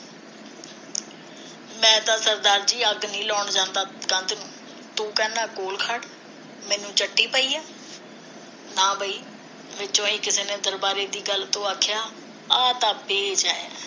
ਮੈਂ ਤਾ ਸਰਦਾਰ ਜੀ ਅੱਗ ਨਹੀ ਲਾਉਣ ਜਾਂਦਾ ਕੰਧ ਤੂੰ ਕਹਿੰਦਾ ਕੋਲ ਖੜ ਮੈਨੂੰ ਚੱਟੀ ਪਈ ਐ ਨਾ ਬਈ ਵਿਚੋਂ ਹੀ ਕਿਸੇ ਨੇ ਦਰਬਾਰੇ ਦੀ ਗੱਲ ਤੋਂ ਆਖਿਆ ਆ ਤਾਂ ਠੀਕ ਐ